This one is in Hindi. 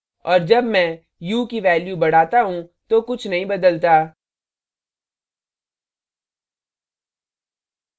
और जब मैं hue ह्यू की value बढ़ाता hue तो कुछ नहीं बदलता